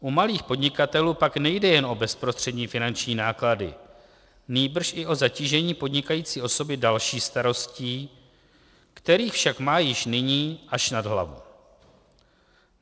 U malých podnikatelů pak nejde jenom o bezprostřední finanční náklady, nýbrž i o zatížení podnikající osoby další starostí, kterých však má již nyní až nad hlavu.